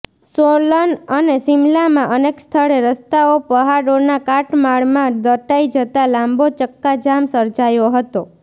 સોલન અને શિમલામાં અનેક સ્થળે રસ્તાઓ પહાડોના કાટમાળમાં દટાઈ જતાં લાંબો ચક્કાજામ સર્જાયો હતો